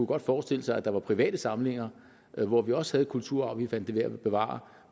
godt forestille sig at der var private samlinger hvor vi også havde kulturarv vi fandt det værd at bevare